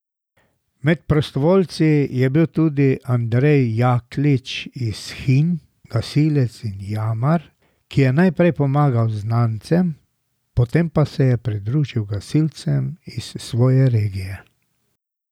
Med prostovoljci je bil tudi Andrej Jaklič iz Hinj, gasilec in jamar, ki je najprej pomagal znancem, potem pa se je pridružil gasilcem iz svoje regije.